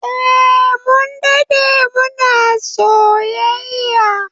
Eh, Mun dade muna soyayya